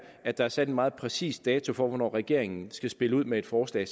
at der er sat en meget præcis dato for hvornår regeringen skal spille ud med et forslag